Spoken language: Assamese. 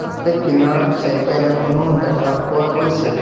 তাতে কিনাৰত চাইকেল এখনো দেখা পোৱা গৈছে।